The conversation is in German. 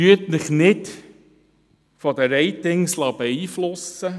Lassen Sie sich nicht von den Ratings beeinflussen.